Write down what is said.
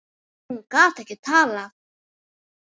Hún gat ekki talað.